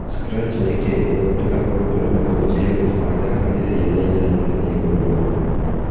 Scratch nĩ kĩĩ: Gũthondeka programu hũthũ cia kũbanga harĩ Ciana 8-11